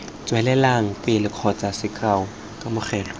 tswelelang pele kgotsa sekao kamogelo